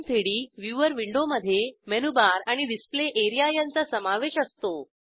gchem3डी व्ह्यूवर विंडोमधे मेनूबार आणि डिस्प्ले एरिया यांचा समावेश असतो